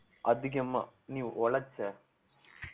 அதிகமா நீ உழைச்ச